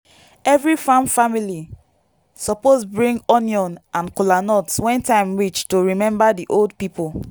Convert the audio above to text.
every farm family suppose bring onion and kolanut when time reach to remember the old people.